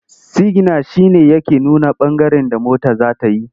Sigina shi ne yake nuna ɓangaren da mota za ta yi.